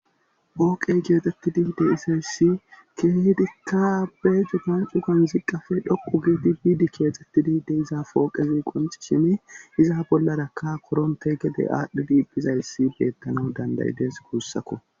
ooqey geetetti diide izayssi keehdikka abbe jugan cugan ziqqafe dhoqu giidi biidi keexxettidiide iza pooqezi qonci shimi iza bollarakka koronte gede aadhdhi diibphizayssi beettana dandayides gussakko